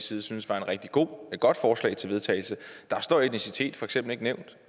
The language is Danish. side syntes var et rigtigt godt forslag til vedtagelse står etnicitet for eksempel ikke nævnt